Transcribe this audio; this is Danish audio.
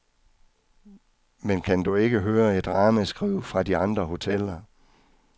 Men kan du ikke høre et ramaskrig fra de andre hoteller.